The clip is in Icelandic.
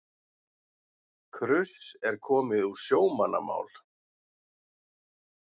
Kruss er komið úr sjómannamál.